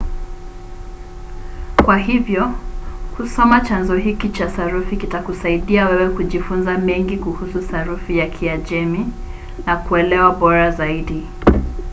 kwa hivyo kusoma chanzo hiki cha sarufi kutakusaidia wewe kujifunza mengi kuhusu sarufi ya kiajemi na kuelewa bora zaidi